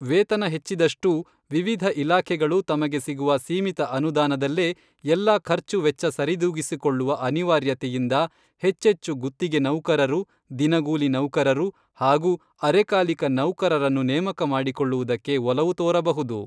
ವೇತನ ಹೆಚ್ಚಿದಷ್ಟೂ ವಿವಿಧ ಇಲಾಖೆಗಳು ತಮಗೆ ಸಿಗುವ ಸೀಮಿತ ಅನುದಾನದಲ್ಲೇ ಎಲ್ಲ ಖರ್ಚುವೆಚ್ಚ ಸರಿದೂಗಿಸಿಕೊಳ್ಳುವ ಅನಿವಾರ್ಯತೆಯಿಂದ ಹೆಚ್ಚೆಚ್ಚು ಗುತ್ತಿಗೆ ನೌಕರರು, ದಿನಗೂಲಿ ನೌಕರರು ಹಾಗೂ ಅರೆಕಾಲಿಕ ನೌಕರರನ್ನು ನೇಮಕ ಮಾಡಿಕೊಳ್ಳುವುದಕ್ಕೆ ಒಲವು ತೋರಬಹುದು.